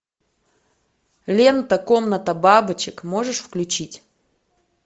лента комната бабочек можешь включить